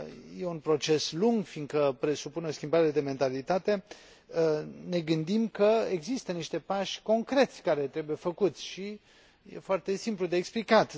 e un proces lung, fiindcă presupune o schimbare de mentalitate, ne gândim că există niște pași concreți care trebuie făcuți și e foarte simplu de explicat.